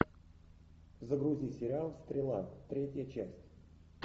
загрузи сериал стрела третья часть